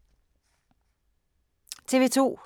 TV 2